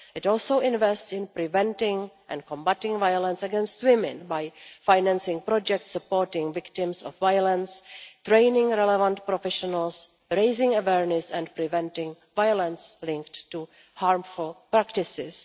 It also invests in preventing and combating violence against women by financing projects supporting victims of violence, training relevant professionals, raising awareness, and preventing violence linked to harmful practices.